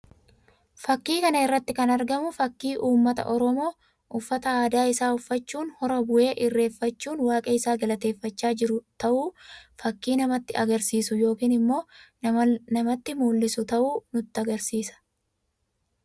Fakkii kana irratti kan argamu fakkii uummata Oromoo uffata aadaa isaa uffachuun hora bu'ee irreeffachuun waaqa isaa galateeffachaa jiru ta'uu fakkii namatti agarsiisu yookiin immoo namatti mul'isu ta'uu nutti agarsiisa.